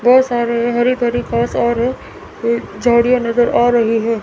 ढेर सारे हरि भरी घास और झाड़ियां नजर आ रही हैं।